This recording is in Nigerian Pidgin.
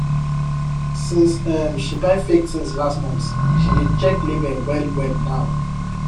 since um she buy fake thing last month she dey check label well well now